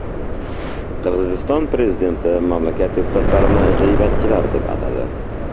Qirg‘iziston prezidenti mamlakat deputatlarini g‘iybatchilar deb atadi.